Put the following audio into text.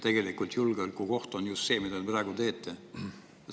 Tegelikult julgeolekuoht on just see, mida te praegu teete.